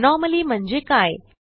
anomaly म्हणजे काय